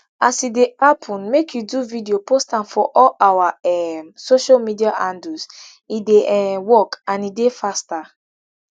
as e dey happun make you do video post am for all our um social media handles e dey um work and e dey faster